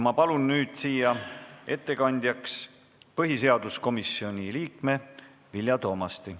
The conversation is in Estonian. Ma palun nüüd ettekandjaks põhiseaduskomisjoni liikme Vilja Toomasti.